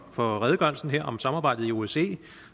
for redegørelsen her om samarbejdet i osce